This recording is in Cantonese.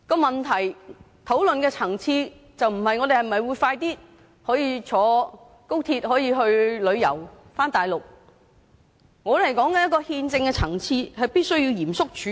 問題討論的層次不是我們是否可以早日乘坐高鐵到內地旅遊，而是憲政的層次必須嚴肅處理。